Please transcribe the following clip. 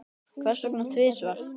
Hvers vegna tvisvar?